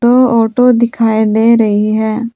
दो ऑटो दिखाई दे रही है।